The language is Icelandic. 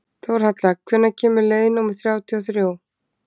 Þórhalla, hvenær kemur leið númer þrjátíu og þrjú?